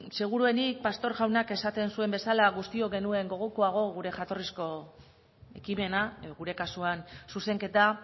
segurueni pastor jaunak esaten zuen bezala guztiok genuen gogokoago gure jatorrizko ekimena gure kasuan zuzenketa